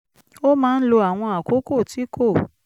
ó máa ń lo àwọn àkókò tí kò